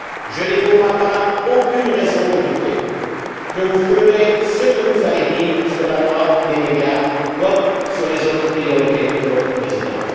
Je n'ai, pour ma part, aucune raison de douter que vous ferez ce que vous avez dit sur la loi des médias comme sur les autres priorités de votre Présidence.